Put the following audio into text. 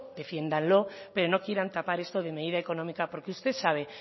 defiéndanlo pero no quieran tapar esto de medida económica porque usted sabe